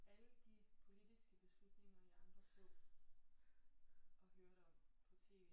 Alle de politiske beslutninger I andre så og hørte om på tv